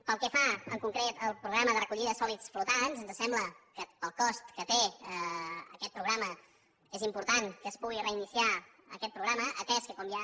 pel que fa en concret al programa de recollida de sòlids flotants ens sembla que pel cost que té aquest programa és important que es pugui reiniciar aquest programa atès que com ja